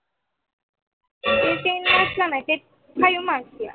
ten mark ला नाही ते five mark ला